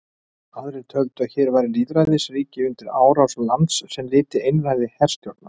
Aðrir töldu að hér væri lýðræðisríki undir árás lands sem lyti einræði herstjórnar.